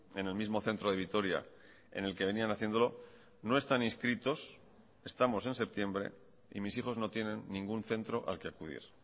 en el mismo centro de vitoria en el que venían haciéndolo no están inscritos estamos en septiembre y mis hijos no tienen ningún centro al que acudir